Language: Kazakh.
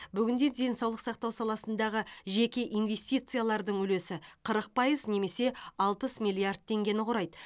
бүгінде денсаулық сақтау саласындағы жеке инвестициялардың үлесі қырық пайыз немесе алпыс миллиард теңгені құрайды